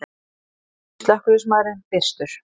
spurði slökkviliðsmaðurinn byrstur.